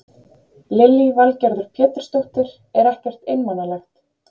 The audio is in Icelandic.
Lillý Valgerður Pétursdóttir: Er ekkert einmanalegt?